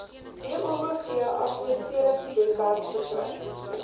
boov assesseringswebwerf verkry